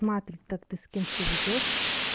маты как ты с кем себя ведёшь